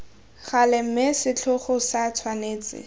gale mme setlhogo se tshwanetse